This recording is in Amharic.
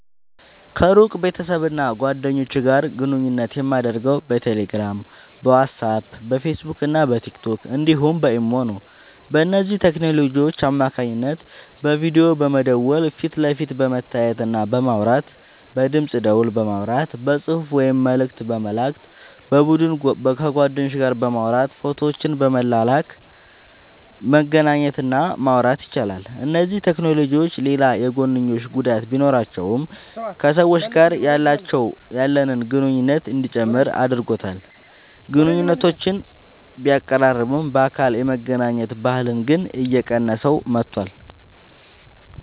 ከሩቅ ቤተሰብና ጓደኞች ጋር ግንኙነት የማደርገው በቴሌግራም፣ በዋትስአፕ፣ በፌስቡክና በቲክቶክ እንዲሁም በኢሞ ነው። በእነዚህ ቴክኖሎጂዎች አማካኝነት በቪዲዮ በመደወል ፊት ለፊት በመተያየትና በማውራት፣ በድምፅ ደወል በማውራት፣ በጽሑፍ ወይም መልእክት በመላክ፣ በቡድን ከጓደኞች ጋር በማውራት ፎቶዎችን በመላላክ መገናኘት እና ማውራት ይቻላል። እነዚህ ቴክኖሎጂዎች ሌላ የጐንዮሽ ጉዳት ቢኖራቸውም ከሰዎች ጋር ያለንን ግንኙነት እንዲጨምር አድርጎታል። ግንኙነቶችን ቢያቀራርብም፣ በአካል የመገናኘት ባህልን ግን እየቀነሰው መጥቷል።